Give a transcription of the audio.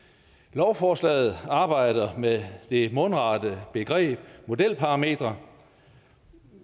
lovforslaget arbejder med det mundrette begreb modelparametre